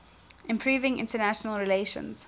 improving international relations